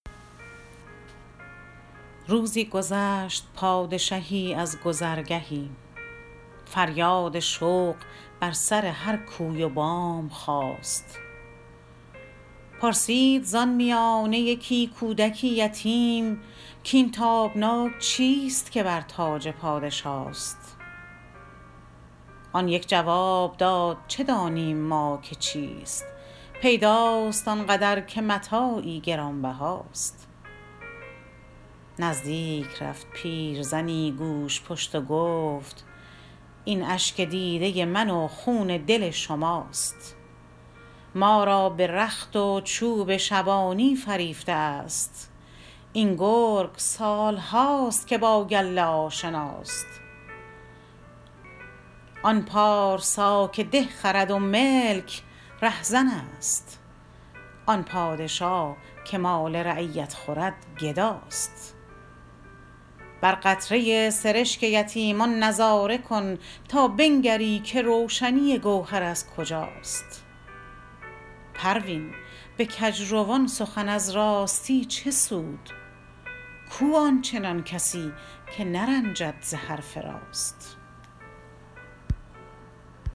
روزی گذشت پادشهی از گذرگهی فریاد شوق بر سر هر کوی و بام خاست پرسید زان میانه یکی کودک یتیم کاین تابناک چیست که بر تاج پادشاست آن یک جواب داد چه دانیم ما که چیست پیداست آنقدر که متاعی گرانبهاست نزدیک رفت پیرزنی گوژپشت و گفت این اشک دیده من و خون دل شماست ما را به رخت و چوب شبانی فریفته است این گرگ سال هاست که با گله آشناست آن پارسا که ده خرد و ملک رهزن است آن پادشا که مال رعیت خورد گداست بر قطره سرشک یتیمان نظاره کن تا بنگری که روشنی گوهر از کجاست پروین به کجروان سخن از راستی چه سود کو آنچنان کسی که نرنجد ز حرف راست